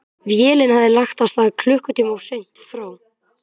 Vélin hafði lagt að stað klukkutíma of seint frá